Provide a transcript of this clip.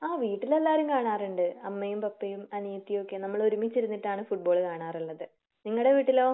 ആഹ് വീട്ടിൽ എല്ലാവരും കാണാറുണ്ട്. അമ്മയും പപ്പയും അനിയത്തിയുമൊക്കെ നമ്മള് ഒരുമിച്ചിരുന്നിട്ടാണ് ഫുട്ബാൾ കാണാറുള്ളത്. നിങ്ങടെ വീട്ടിലോ?